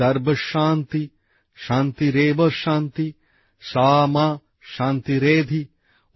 সর্বশান্তিঃ শান্তিরেবঃ শান্তিঃ সা মা শান্তিরেধিঃ